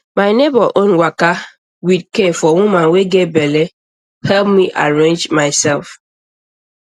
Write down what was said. my neighbor own waka with care for woman wey get belle help me arrange myself